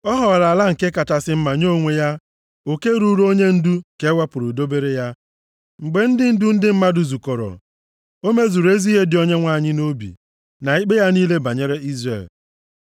Ọ họọrọ ala nke kachasị mma nye onwe ya; oke ruuru onyendu ka e wepụrụ dobere ya. Mgbe ndị ndu ndị mmadụ zukọrọ, o mezuru ezi ihe dị Onyenwe anyị nʼobi, na ikpe ya niile banyere Izrel.”